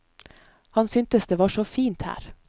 Han syntes det var så fint her.